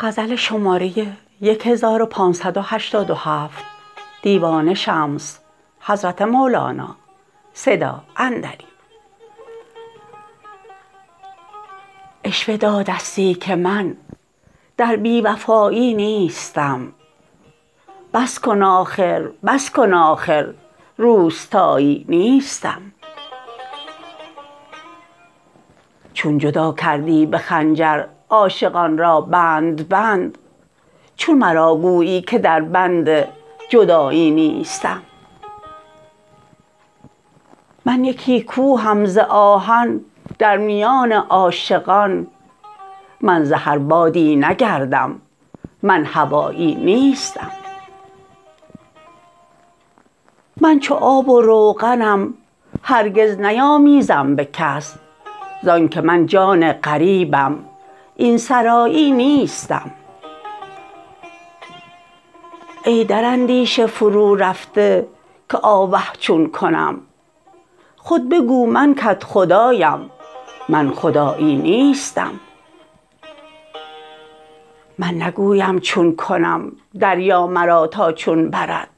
عشوه دادستی که من در بی وفایی نیستم بس کن آخر بس کن آخر روستایی نیستم چون جدا کردی به خنجر عاشقان را بند بند چون مرا گویی که دربند جدایی نیستم من یکی کوهم ز آهن در میان عاشقان من ز هر بادی نگردم من هوایی نیستم من چو آب و روغنم هرگز نیامیزم به کس زانک من جان غریبم این سرایی نیستم ای در اندیشه فرورفته که آوه چون کنم خود بگو من کدخدایم من خدایی نیستم من نگویم چون کنم دریا مرا تا چون برد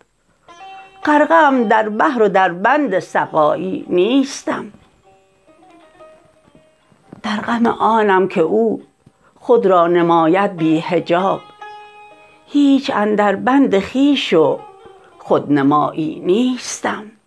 غرقه ام در بحر و دربند سقایی نیستم در غم آنم که او خود را نماید بی حجاب هیچ اندربند خویش و خودنمایی نیستم